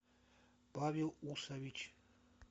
павел усович